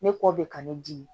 Ne kɔ bɛ ka ne di